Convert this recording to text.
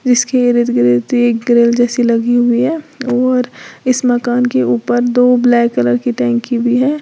जिसके इर्द गिर्द एक ग्रिल जैसी लगी हुई है और इस मकान के ऊपर दो ब्लैक कलर की टंकी भी है।